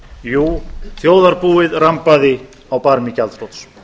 jú þjóðarbúið rambaði á barmi gjaldþrots